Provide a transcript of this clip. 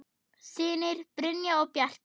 Synir: Brynjar og Bjarki.